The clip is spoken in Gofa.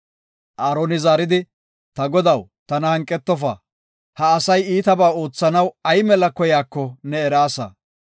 Aaroni zaaridi, “Ta godaw, tana hanqetofa. Ha asay iitaba oothanaw ay mela koyaako ne eraasa.